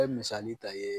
Bɛ misali ta ye